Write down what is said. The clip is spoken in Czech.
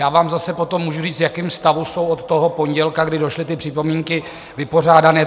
Já vám zase potom můžu říct, v jakém stavu jsou od toho pondělka, kdy došly ty připomínky, vypořádány.